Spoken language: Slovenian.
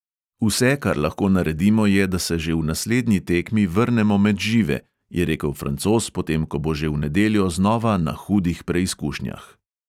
"Vse, kar lahko naredimo je, da se že v naslednji tekmi vrnemo med žive," je rekel francoz, potem ko bo že v nedeljo znova na hudih preizkušnjah.